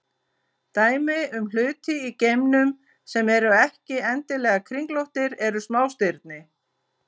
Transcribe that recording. Dæmi um hluti í geimnum sem eru ekki endilega kringlóttir eru smástirni.